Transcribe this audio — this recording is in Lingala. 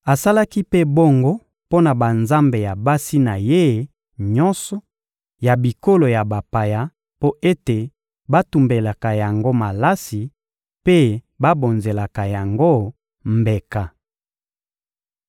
Asalaki mpe bongo mpo na banzambe ya basi na ye nyonso ya bikolo ya bapaya mpo ete batumbelaka yango malasi mpe babonzelaka yango mbeka.